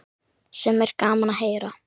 Sem er gaman að heyra.